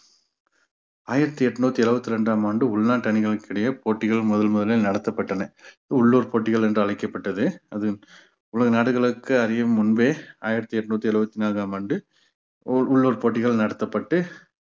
ஆயிரத்தி எட்நூத்தி எழுவத்தி ரெண்டாம் ஆண்டு உள்நாட்டு அணிகளுக்கு இடையே போட்டிகள் முதல் முதலில் நடத்தப்பட்டன உள்ளூர் போட்டிகள் என்று அழைக்கப்பட்டது அது உலக நாடுகளுக்கு அறியும் முன்பே ஆயிரத்தி எட்நூத்தி எழுபத்தி நான்காம் ஆண்டு உ~ உள்ளூர் போட்டிகள் நடத்தப்பட்டு